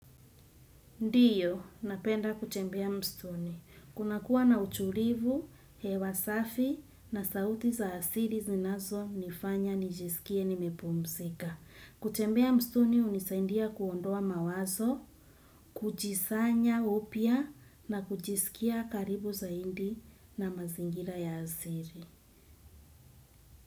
Ndiyo, napenda kutembea msituni. Kuna kuwa na utulivu, hewa safi na sauti za asili zinazonifanya nijisikie nimepumzika. Kutembea msituni hunisaindia kuondoa mawazo, kujisanya upya na kujisikia karibu zaidi na mazingira ya asili.